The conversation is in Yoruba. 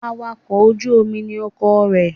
Awakọ̀ ojú Omi ni ọkọ rẹ